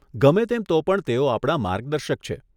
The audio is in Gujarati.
ગમે તેમ તો પણ તેઓ આપણા માર્ગદર્શક છે.